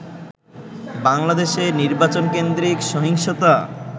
বাংলাদেশে নির্বাচন কেন্দ্রিক সহিংসতা